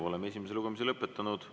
Oleme esimese lugemise lõpetanud.